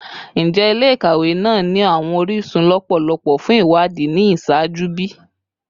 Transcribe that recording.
Njẹ ile-ikawe naa ni awọn orisun lọpọlọpọ fun iwadii ni iṣaaju bi?